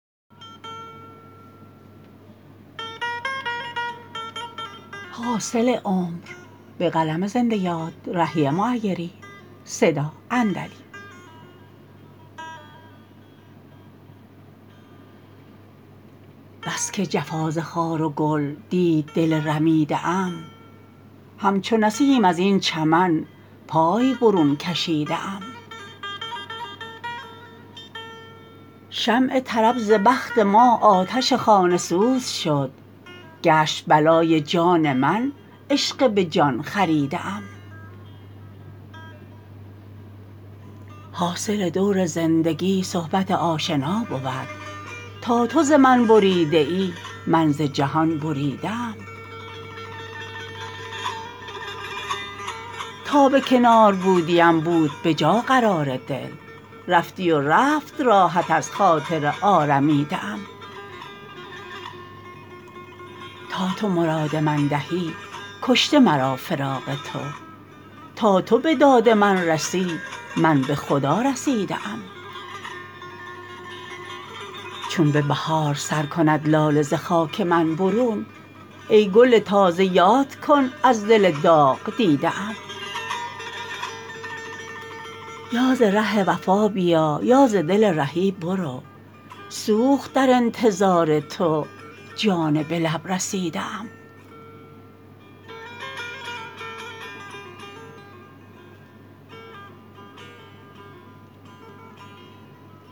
بس که جفا ز خار و گل دید دل رمیده ام همچو نسیم از این چمن پای برون کشیده ام شمع طرب ز بخت ما آتش خانه سوز شد گشت بلای جان من عشق به جان خریده ام حاصل دور زندگی صحبت آشنا بود تا تو ز من بریده ای من ز جهان بریده ام تا به کنار بودیم بود به جا قرار دل رفتی و رفت راحت از خاطر آرمیده ام تا تو مراد من دهی کشته مرا فراق تو تا تو به داد من رسی من به خدا رسیده ام چون به بهار سر کند لاله ز خاک من برون ای گل تازه یاد کن از دل داغ دیده ام یا ز ره وفا بیا یا ز دل رهی برو سوخت در انتظار تو جان به لب رسیده ام